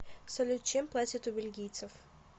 салют чем платят у бельгийцев